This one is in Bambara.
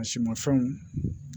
A si ma fɛnw